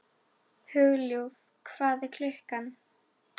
Hugljúf, hvað er klukkan?